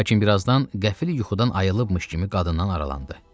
Lakin birazdan qəfil yuxudan ayılıbmış kimi qadından aralandı.